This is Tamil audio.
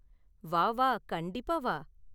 வா வா, கண்டிப்பா வா.